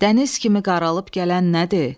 Dəniz kimi qaralıb gələn nədir?